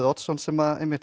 Oddsson sem